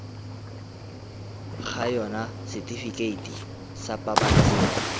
ga yona setifikeiti sa pabalesego